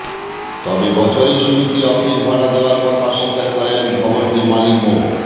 তবে বছরের শুরুতে অফিস ভাড়া দেওয়ার কথা অস্বীকার করেন ভবনটির মালিক মো